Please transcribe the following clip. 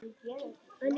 Það gekk mikið á.